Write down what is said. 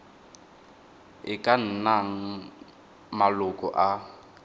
e ka nnang maloko a